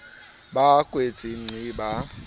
ba a kwetse nqi ba